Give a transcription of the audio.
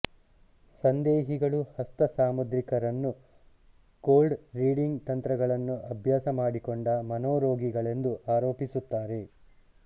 ಸಂದೇಹಿಗಳು ಹಸ್ತ ಸಾಮುದ್ರಿಕರನ್ನು cold reading ತಂತ್ರಗಳನ್ನು ಅಭ್ಯಾಸ ಮಾಡಿಕೊಂಡ ಮನೋರೋಗಿಗಳೆಂದು ಆರೋಪಿಸುತ್ತಾರೆ